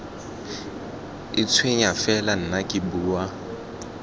itshwenya fela nna ke bua